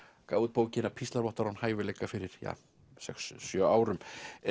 gaf út bókina píslarvottar án hæfileika fyrir ja sex sjö árum